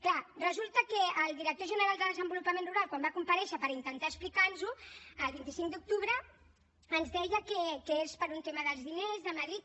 clar resulta que el director general de desenvolupament rural quan va comparèixer per intentar explicar nos ho el vint cinc d’octubre ens deia que és per un tema dels diners de madrid